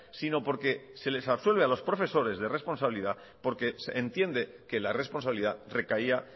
sino porque se les absuelve a los profesores de responsabilidad porque entiende que la responsabilidad recaía